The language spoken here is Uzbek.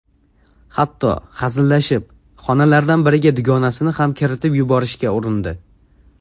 Hatto, hazillashib, xonalardan biriga dugonasini ham kiritib yuborishga urindi.